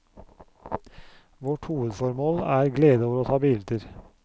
Vårt hovedformål er glede over å ta bilder.